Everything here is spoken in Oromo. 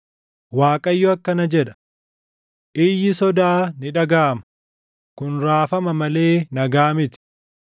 “ Waaqayyo akkana jedha: “ ‘Iyyi sodaa ni dhagaʼama; kun raafama malee nagaa miti.